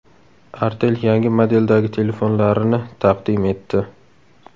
Artel yangi modeldagi telefonlarini taqdim etdi.